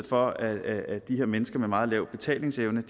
for at de her mennesker med en meget lav betalingsevne